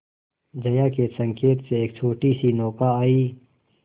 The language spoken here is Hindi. जया के संकेत से एक छोटीसी नौका आई